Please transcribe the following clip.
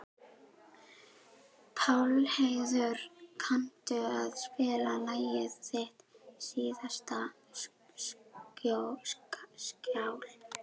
Pálheiður, kanntu að spila lagið „Þitt síðasta skjól“?